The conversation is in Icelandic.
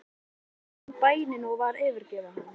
Biskup fann að bænin var að yfirgefa hann.